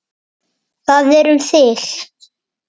Það er um þig.